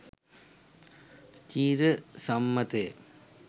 චිර සම්මත ය.